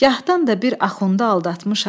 Gahdan da bir axunda aldatmışam.